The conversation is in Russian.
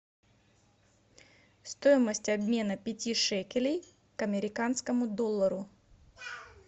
стоимость обмена пяти шекелей к американскому доллару